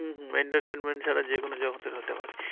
হম হম entertainment ছাড়া যেকোনো জগতের হতে পারে।